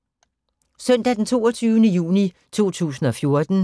Søndag d. 22. juni 2014